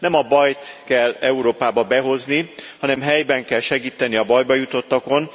Nem a bajt kell Európába behozni, hanem helyben kell segíteni a bajba jutottakon.